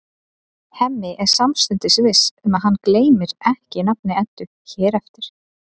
Hemmi er samstundis viss um að hann gleymir ekki nafni Eddu hér eftir.